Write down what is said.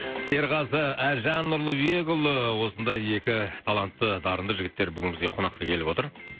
серғазы әлжан нұрлыбекұлы осындай екі талантты дарынды жігіттер бүгін бізге қонаққа келіп отыр